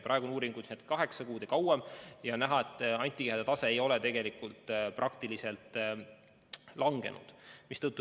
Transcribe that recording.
Praegused uuringud on tehtud kaheksa kuud pärast vaktsineerimist või hiljemgi ja on näha, et antikehade tase ei ole tegelikult langenud.